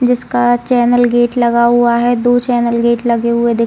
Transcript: जिसका channel gate लगा हुआ है दो चैनल गेट लगे हुए दि --